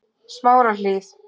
Smárahlíð